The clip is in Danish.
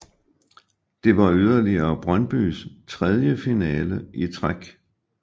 Det var yderligere Brøndbys tredje finale i træk